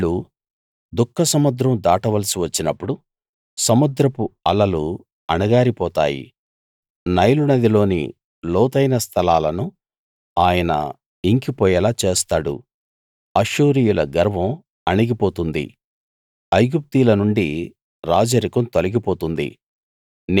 వాళ్ళు దుఃఖసముద్రం దాటవలసి వచ్చినప్పుడు సముద్రపు అలలు అణగారి పోతాయి నైలునదిలోని లోతైన స్థలాలను ఆయన ఇంకిపోయేలా చేస్తాడు అష్షూరీయుల గర్వం అణిగి పోతుంది ఐగుప్తీయుల నుండి రాజరికం తొలిగి పోతుంది